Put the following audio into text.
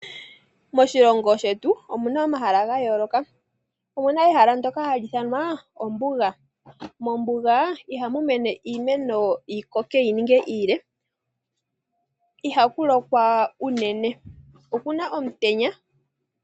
Moshilongo shetu omuna omahala ga yooloka, omuna ehala ndyoka hali ithanwa ombuga. Mombuga ihamu mene iimeno yi koke yi ninge iile. Ihaku lokwa unene, okuna omutenya.